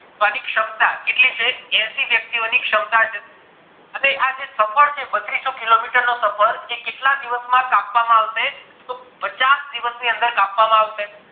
તો અણી શમતા કેટલી છે એશી વ્યક્તિ ની શમતા છે અને આ જે સફર છે બત્ત્રીસો kilometer નો સફર કેટલા દિવસ માં કાપવામાં આવશે તો પચાસ દિવસ ની અંદર કાપવામાં આવશે